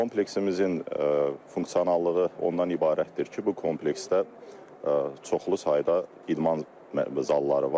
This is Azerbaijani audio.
Kompleksimizin funksionallığı ondan ibarətdir ki, bu kompleksdə çoxlu sayda idman zalları var.